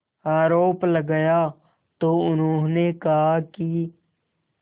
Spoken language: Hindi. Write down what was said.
आरोप लगाया तो उन्होंने कहा कि